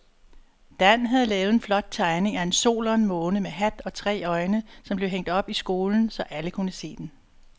Dan havde lavet en flot tegning af en sol og en måne med hat og tre øjne, som blev hængt op i skolen, så alle kunne se den.